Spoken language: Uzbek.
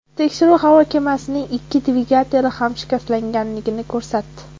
Tekshiruv havo kemasining ikki dvigateli ham shikastlanganini ko‘rsatdi.